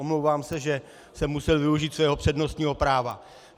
Omlouvám se, že jsem musel využít svého přednostního práva.